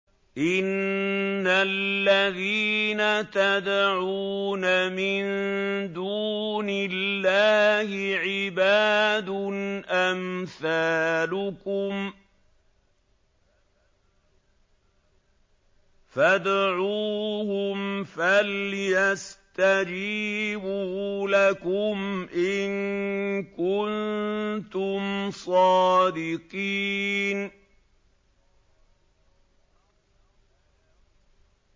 إِنَّ الَّذِينَ تَدْعُونَ مِن دُونِ اللَّهِ عِبَادٌ أَمْثَالُكُمْ ۖ فَادْعُوهُمْ فَلْيَسْتَجِيبُوا لَكُمْ إِن كُنتُمْ صَادِقِينَ